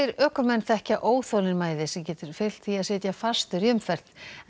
ökumenn þekkja óþolinmæði sem getur fylgt því að sitja fastur í umferð